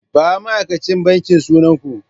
Ba ma'aikacin banki sunan ku!